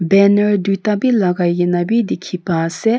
banner duita bi lagaikena bi dikhi pai ase.